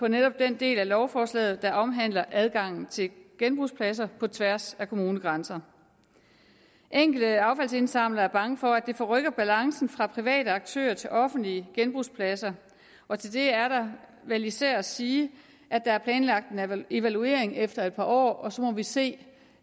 netop den del af lovforslaget der omhandler adgangen til genbrugspladser på tværs af kommunegrænser enkelte affaldsindsamlere er bange for at det forrykker balancen fra private aktører til offentlige genbrugspladser og til det er der vel især at sige at der er planlagt en evaluering efter et par år og så må vi se